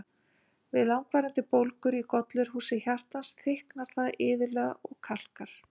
Við langvarandi bólgur í gollurhúsi hjartans, þykknar það iðulega og kalkar.